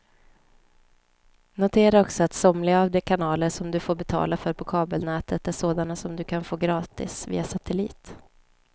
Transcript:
Notera också att somliga av de kanaler som du får betala för på kabelnätet är sådana som du kan få gratis via satellit.